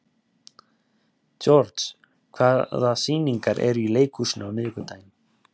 George, hvaða sýningar eru í leikhúsinu á miðvikudaginn?